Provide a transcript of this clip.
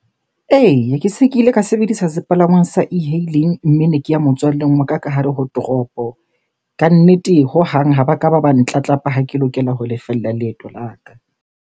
Eya, ke se ke ile ka sebedisa sepalangwang sa e-hailing, mme ne ke ya motswalleng wa ka hare ho toropo. Kannete hohang ha ba ka ba ba ntlatlapa ha ke lokela ho lefella leeto la ka.